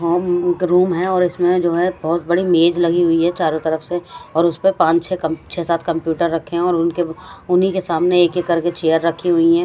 एक रूम है और इसमें जो है बहुत बड़ी मेज लगी हुई है चारों तरफ से और उस पे पांच छः छः सात कंप्यूटर रखे हैं उनके और उन्हीं के सामने एक एक चेयर रखी हुई है।